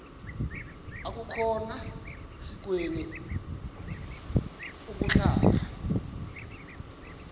akukhona sikweni ukuhlala